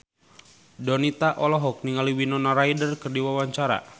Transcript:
Donita olohok ningali Winona Ryder keur diwawancara